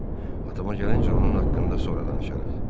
Atama gəlincə, onun haqqında sonra danışarıq.